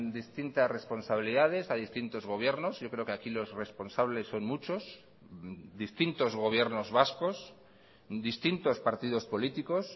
distintas responsabilidades a distintos gobiernos yo creo que aquí los responsables son muchos distintos gobiernos vascos distintos partidos políticos